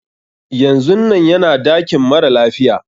Yanzun nan yana dakin mara lafiya.